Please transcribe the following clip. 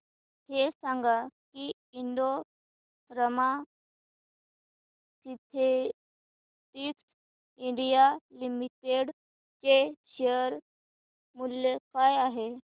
हे सांगा की Indo Rama synthetics India limited चे शेअर मूल्य काय आहे